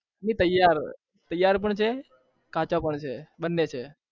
નહિ તેયાર પણ છે કાચા પણ છે બને છે